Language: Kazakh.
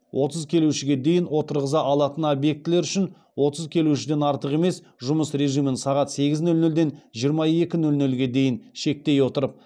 отыз келушіге дейін отырғыза алатын объектілер үшін отыз келушіден артық емес жұмыс режимін сағат сегіз нөл нөлден жиырма екі нөл нөлге дейін шектей отырып